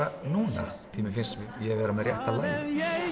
núna því mér finnst ég vera með rétta lagið